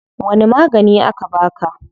Wani magani aka baka?